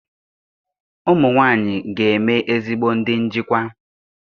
Ụmụ nwanyị ga-eme ezigbo ndị njikwa.